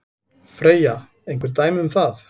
Freyja: Einhver dæmi um það?